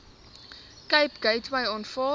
cape gateway aanvaar